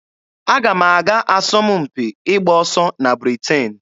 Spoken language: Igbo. Aga m aga asọmpi ịgba ọsọ na Britain.